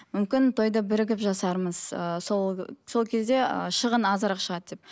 мүмкін тойды бірігіп жасармыз ыыы сол сол кезде ыыы шығын азырақ шығады деп